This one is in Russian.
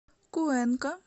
куэнка